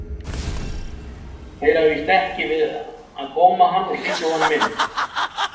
Þeir hafa víst ekki við að góma hann og stinga honum inn.